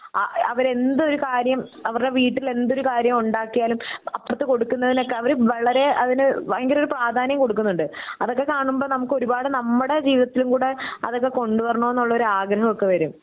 അ അവരെന്തൊരു കാര്യം അവരുടെ വീട്ടിൽ എന്തൊരു കാര്യം ഉണ്ടാക്കിയാലും അപ്പുറത്ത് കൊടുക്കുന്നതിലൊക്കെ അവർ വളരേ അതിന് ഭയങ്കര ഒരു പ്രാധാന്യം കൊടുക്കുന്നുണ്ട് അതൊക്കെ കാണുമ്പോ നമുക്ക് ഒരുപാട് നമ്മുടെ ജീവിതത്തിലും കൂടെ അതൊക്കെ കൊണ്ടുവരണം എന്നുള്ള ആഗ്രഹം ഒക്കെ വരും